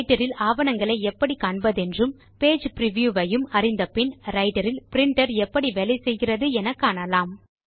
writer இல் ஆவணங்களை எப்படி காண்பதென்றும் பேஜ் பிரிவ்யூ ஐயும் அறிந்த பின் ரைட்டர் இல் பிரின்டர் எப்படி வேலை செய்கிறது என காணலாம்